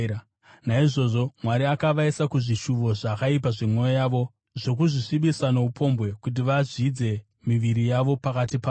Naizvozvo Mwari akavaisa kuzvishuvo zvakaipa zvemwoyo yavo, zvokuzvisvibisa noupombwe kuti vazvidze miviri yavo pakati pavo.